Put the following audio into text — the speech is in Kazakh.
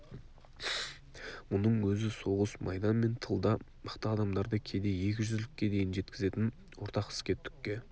мұның өзі соғыс майдан мен тылда мықты адамдарды кейде екі жүзділікке дейін жеткізетін ортақ іске түкке